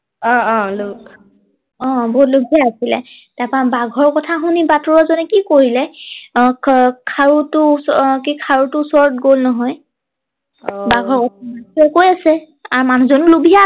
অ অ অ বৰ লুভিয়া আছিলে তাৰ পৰা বাঘৰ কথা শুনি বাটৰোৱা জনে কি কৰিলে আহ খাৰুটো আহ ওচৰত কি খাৰু টোৰ ওচৰত গল নহয় অ বাঘৰ কৈ আছে মানুহ জনো লুভীয়া